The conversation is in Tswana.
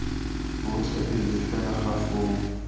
botlhe pele fela ga foo